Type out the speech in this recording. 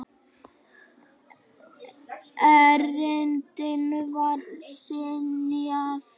Erindinu var synjað.